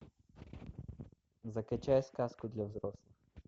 закачай сказку для взрослых